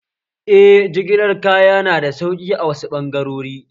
Eh, jigilar kaya nada sauƙi a wasu ɓangarori